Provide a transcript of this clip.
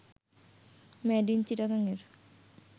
made in Chittagong এর